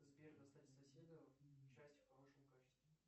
сбер достать соседа часть в хорошем качестве